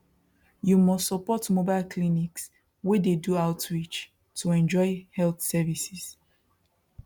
you must support mobile clinics wey dey do outreach to enjoy health services